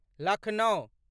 Lucknow